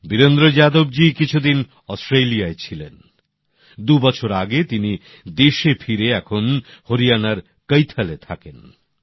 বীরেন্দ্র যাদব জী কিছুদিন অস্ট্রেলিয়ায় ছিলেন দু বছর আগে তিনি দেশে ফিরে এখন হরিয়ানার কৈথল এ থাকেন